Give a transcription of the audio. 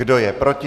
Kdo je proti?